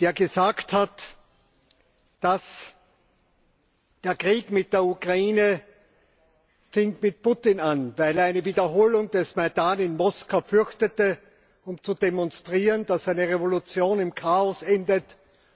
der gesagt hat, dass der Krieg mit der Ukraine mit Putin anfing, weil er eine Wiederholung des Maidan in Moskau fürchtete, um zu demonstrieren, dass eine Revolution im Chaos endet